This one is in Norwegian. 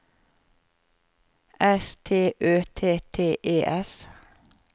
S T Ø T T E S